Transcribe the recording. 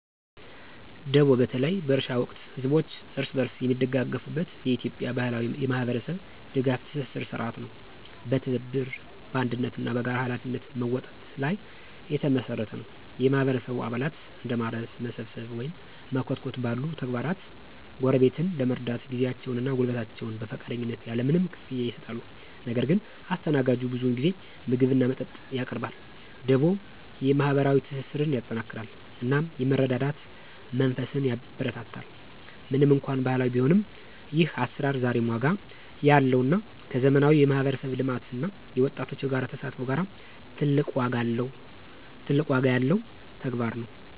ደቦ በተለይ በእርሻ ወቅት ህዝቦች እርስ በርስ የሚደጋገፉበት የኢትዮጵያ ባህላዊ የማህበረሰብ ድጋፍ ትስስር ሥርዓት ነው። በትብብር፣ በአንድነት እና በጋራ ኃላፊነት መወጣት ላይ የተመሰረተ ነው። የማህበረሰቡ አባላት እንደ ማረስ፣ መሰብሰብ ወይም መኮትኮት ባሉ ተግባራት ጎረቤትን ለመርዳት ጊዜያቸውን እና ጉልበታቸውን በፈቃደኝነት ያለ ምንም ክፍያ ይሰጣሉ። ነገር ግን አስተናጋጁ ብዙውን ጊዜ ምግብ እና መጠጥ ያቀርባል። ደቦ የማህበራዊ ትስስርን ያጠናክራል እናም የመረዳዳት መንፈስን ያበረታታል። ምንም እንኳን ባህላዊ ቢሆንም፣ ይህ አሰራር ዛሬም ዋጋ ያለው እና ከዘመናዊ የማህበረሰብ ልማት እና የወጣቶች የጋራ ተሳትፎ ጋራ ትልቅ ዋጋ ያለው ተግባር ነው።